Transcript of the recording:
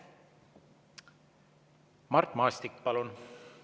Mart Maastik, palun!